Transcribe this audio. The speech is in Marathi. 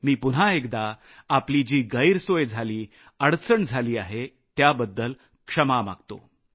मी पुन्हा एकदा आपली जी गैरसोय झाली अडचण झाली आहे त्याबद्दल क्षमा मागतो